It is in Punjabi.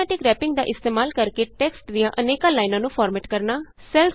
ਆਟੌਮੈਟਿਕ ਰੈਪਿੰਗ ਦਾ ਇਸਤੇਮਾਲ ਕਰਕੇ ਟੈਕਸਟ ਦੀਆਂ ਅਨੇਕ ਲਾਈਨਾਂ ਨੂੰ ਫਾਰਮੈਟ ਕਰਨਾ